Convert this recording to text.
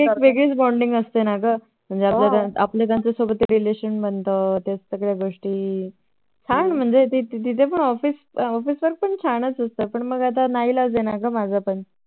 वेगळी च Bonding असते ना ग हो आपल्या त्याच्या सोबत एक Relation बनत त्या सगळ्या गोष्टी हा ना म्हणजे तिथे Office वर पण छान असत पण ना इलाज आहे माझं